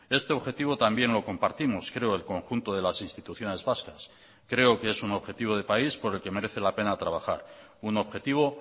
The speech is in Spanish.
este objetivo también lo compartimos creo el conjunto de las instituciones vascas creo que es un objetivo de país por el que merece la pena trabajar un objetivo